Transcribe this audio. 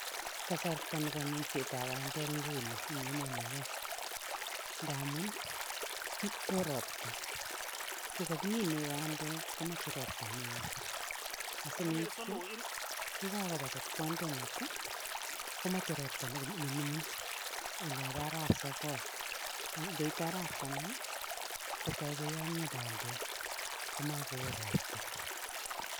kasarta nebo minsetab bandek nguno eng emoni nyo ngamu oo ropta ngogagimine bandek komache ropto neoo, yakapamet bandek komache ropta nemining olobo arawetab sogol ngoite arawetab taman kotoi koyomio bandek gomakoo ropta